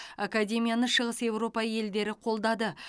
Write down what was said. академияны шығыс еуропа елдері қолдады